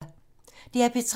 DR P3